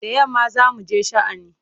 Da yamma za mu je sha'ani.